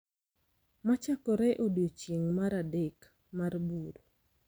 Machakore e odiechieng’ mar adek mar buru .